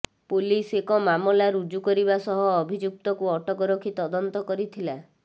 police ଏକ ମାମଲା ରୁଜୁ କରିବା ସହ ଅଭିଯୁକ୍ତକୁ ଅଟକ ରଖି ତଦନ୍ତ କରିଥିଲା